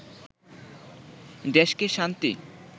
দেশকে শান্তি